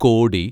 കോടി